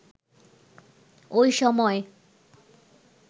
ওই সময়